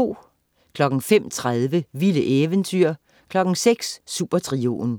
05.30 Vilde eventyr 06.00 Supertrioen